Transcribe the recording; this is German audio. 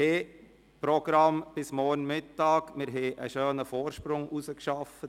Unser Programm ist bis morgen Mittag vorgesehen, und wir haben einen schönen Vorsprung erarbeitet.